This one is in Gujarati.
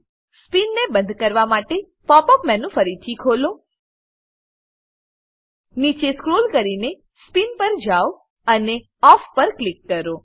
સ્પિન સ્પીન ને બંધ કરવા માટે પોપ અપ મેનુ ફરીથી ખોલો નીચે સ્ક્રોલ કરીને સ્પિન પર જાવ અને ઓફ પર ક્લિક કરો